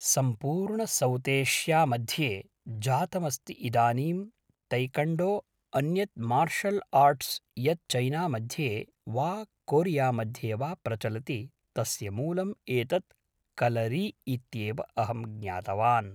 सम्पूर्णसौतेष्या मध्ये जातमस्ति इदानीं तैकण्डो अन्यद् मार्शल् आर्ट्स् यद् चैना मध्ये वा कोरिया मध्ये वा प्रचलति तस्य मूलम् एतद् कलरी इत्येव अहं ज्ञातवान्